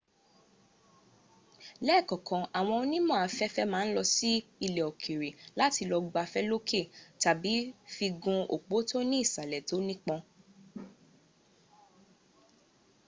lẹ́ẹ̀kọ̀kan àwọn onímọ̀ afẹ́fẹ́ ma ń lọ sí ilẹ̀ òkèrè láti lọ gbafẹ́ lókè tàbí fi gun òpó tó ní ìsàlẹ̀ tó nípọn